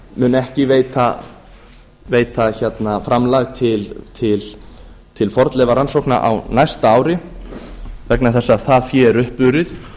mun ekki veita framlag til fornleifarannsókna á næsta ári vegna þess að það fé er uppurið